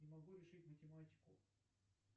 не могу решить математику